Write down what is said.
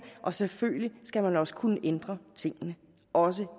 og selvfølgelig skal man også kunne ændre tingene også